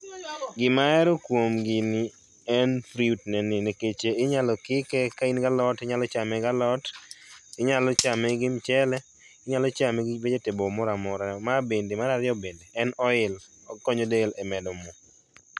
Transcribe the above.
Gima ahero kuom gini en fruit ne ni nikech inyalo kike kain gi alot tinyalo chame gi alot, inyalo chame gi mchele, inyalo chame gi vegetable moro amora. Ma bende, mar ariyo bende, en oil, okonyo del e medo moo